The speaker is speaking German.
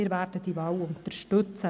Wir werden diese Wahl unterstützen.